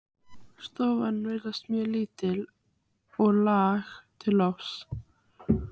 Stofan virtist mjög lítil og lág til lofts.